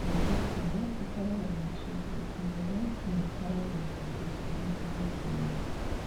Ngathĩti ĩyo ĩkoragwo na icunjĩ igĩrĩ na ikoragwo na icunjĩ igĩrĩ iringanĩte.